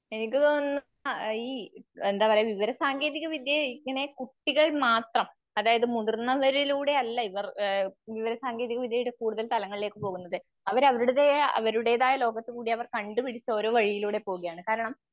ഇത്ഒന്ന് അഇ എന്താപറയ വിവരസാങ്കേതികവിദ്യ ഇങ്ങനെ കുട്ടികൾ മാത്രം മുതിർന്നവരിലൂടെയല്ല ഇവർ ഏഹ് വിവരസാങ്കേതികവിദ്യയുടെ കൂടുതൽ തലങ്ങളിലേക്ക് പോകുന്നത്. അവര് അവരുടെതയ അവരുടേതായ ലോകത്തുകൂടി കണ്ടുപിടിച്ച ഓരോ വഴിയിലൂടെ പോവുകയാണ്. കാരണം